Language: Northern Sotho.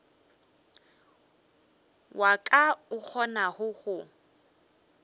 wa ka o kgonago go